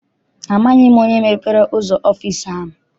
Amaghị m onye mepere ụzọ ọfịịsi ahụ.